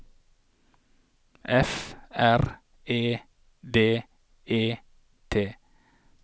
F R E D E T